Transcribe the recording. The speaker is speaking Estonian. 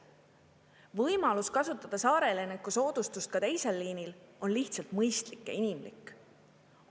Võimalus kasutada saareelaniku soodustust ka teisel liinil on lihtsalt mõistlik ja inimlik.